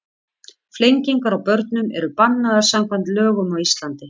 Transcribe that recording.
Flengingar á börnum eru bannaðar samkvæmt lögum á Íslandi.